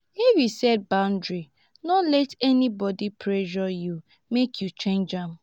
if you set boundary no let anybody pressure you make you change am.